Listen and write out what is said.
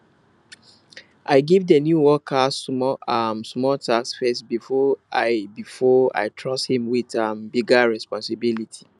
i give di new worker small um small tasks first before i before i trust him with um bigger responsibilities